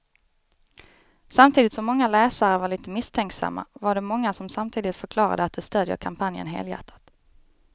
Samtidigt som många läsare var lite misstänksamma var det många som samtidigt förklarade att de stödjer kampanjen helhjärtat.